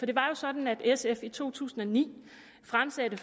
det var jo sådan at sf i to tusind og ni fremsatte